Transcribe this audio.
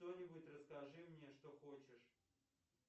что нибудь рассккажи мне что хочешь